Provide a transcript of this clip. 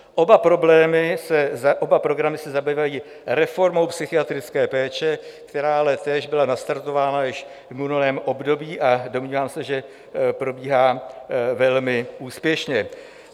Oba programy se zabývají reformou psychiatrické péče, která ale též byla nastartována již v minulém období, a domnívám se, že probíhá velmi úspěšně.